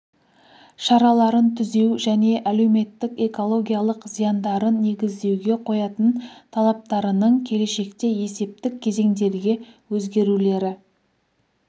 шараларын түзеу және әлеуметтік экологиялық зияндарын негіздеуге қоятын талаптарының келешекте есептік кезеңдерге өзгерулері